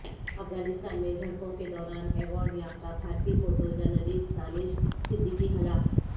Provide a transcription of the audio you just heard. افغانستان میں جھڑپوں کے دوران ایوارڈ یافتہ بھارتی فوٹو جرنلسٹ دانش صدیقی ہلاک